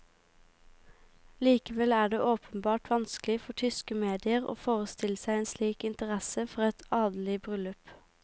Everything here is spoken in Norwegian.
Likevel er det åpenbart vanskelig for tyske medier å forestille seg en slik interesse for et adelig bryllup.